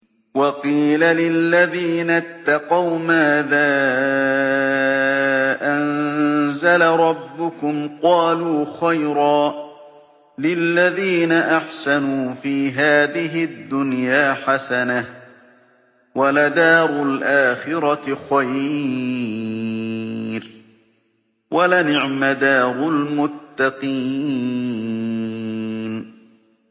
۞ وَقِيلَ لِلَّذِينَ اتَّقَوْا مَاذَا أَنزَلَ رَبُّكُمْ ۚ قَالُوا خَيْرًا ۗ لِّلَّذِينَ أَحْسَنُوا فِي هَٰذِهِ الدُّنْيَا حَسَنَةٌ ۚ وَلَدَارُ الْآخِرَةِ خَيْرٌ ۚ وَلَنِعْمَ دَارُ الْمُتَّقِينَ